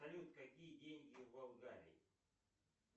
салют какие деньги в болгарии